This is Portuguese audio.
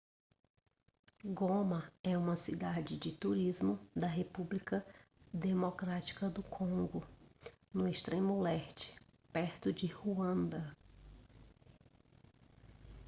goma é uma cidade de turismo da república democrática do congo no extremo leste perto de ruanda